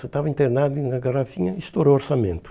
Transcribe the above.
Eu estava internado e na garrafinha estourou o orçamento.